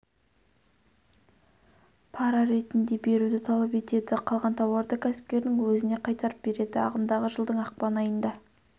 пара ретінде беруді талап етеді қалған тауарды кәсіпкердің өзіне қайтарып береді ағымдағы жылдың ақпан айында